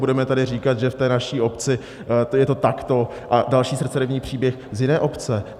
Budeme tady říkat, že v té naší obci je to takto, a další srdceryvný příběh z jiné obce?